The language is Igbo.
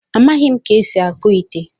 A ma m ka esi akpụ ite